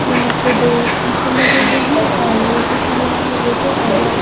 यहां पे दो सीसे लगे हुए हैं और ये सीसा लगा हुआ गेट और यहां पे--